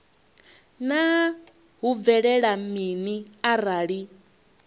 naa hu bvelela mini arali